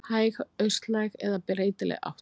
Hæg austlæg eða breytileg átt